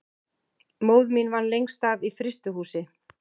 Móðir mín vann lengst af í frystihúsi.